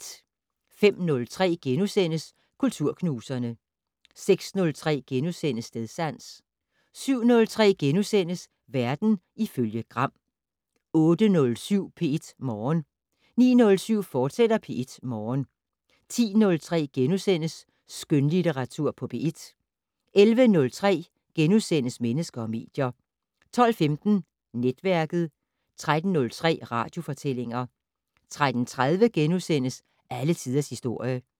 05:03: Kulturknuserne * 06:03: Stedsans * 07:03: Verden ifølge Gram * 08:07: P1 Morgen 09:07: P1 Morgen, fortsat 10:03: Skønlitteratur på P1 * 11:03: Mennesker og medier * 12:15: Netværket 13:03: Radiofortællinger 13:30: Alle tiders historie *